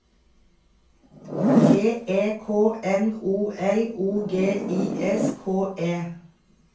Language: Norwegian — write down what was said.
T E K N O L O G I S K E